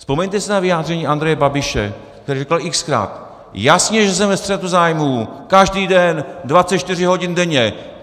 Vzpomeňte si na vyjádření Andreje Babiše, který říkal x-krát, jasně že jsem ve střetu zájmů, každý den, 24 hodin denně.